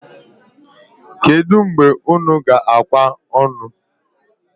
Kedu mgbe unu g'akwa onu?